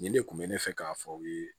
Nin de kun bɛ ne fɛ k'a fɔ u ye